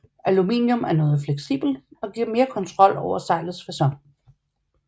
Aluminium er noget mere fleksibelt og giver mere kontrol over sejlets facon